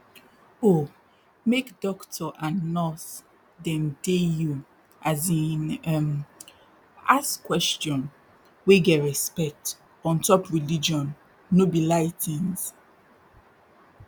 oh make dokto and nurse dem dey you as in um ask question wey get respect ontop religion no be lie tins